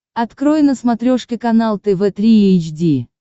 открой на смотрешке канал тв три эйч ди